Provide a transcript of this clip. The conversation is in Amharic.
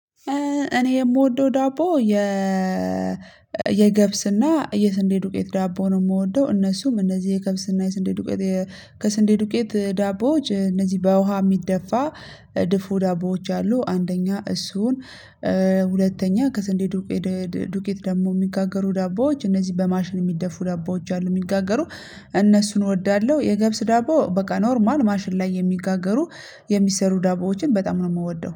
እኔ የምወደው ዳቦ የ የገብስና የስንዴ ዱቄት ዳቦ ነው የምወደው እነሱም እነዚህ የገብስና የስንዴ ዱቄት የ ከስንዴ ዱቄት ዳቦዎች እነዚህ በውሃ የሚደፋ ድፎ ዳቦዎች አሉ። አንደኛ እሱን ሁለተኛ ከስንዴ ዱቄት ዱቄት ደግሞ የሚጋገሩ ዳቦዎች እነዚህ በማሽን የሚደፉ ዳቦዎች አሉ የሚጋገሩ እነሱን እወዳለሁ። የገብስ ዳቦ በቃ ኖርማል ማሽን ላይ የሚጋገሩ የሚሰሩ ዳቦዎችን በጣም ነው የምወደው